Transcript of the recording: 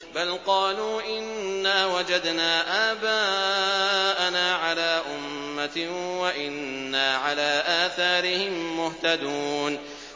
بَلْ قَالُوا إِنَّا وَجَدْنَا آبَاءَنَا عَلَىٰ أُمَّةٍ وَإِنَّا عَلَىٰ آثَارِهِم مُّهْتَدُونَ